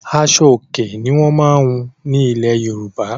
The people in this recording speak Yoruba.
Aṣo-Òkè ni wọ́n máa ń hun ní ilẹ̀ Yorùbá.